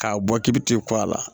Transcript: K'a bɔ k'i bi t'i kɔ a la